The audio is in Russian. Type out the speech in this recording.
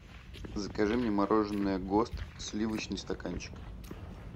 закажи мне мороженое гост сливочный стаканчик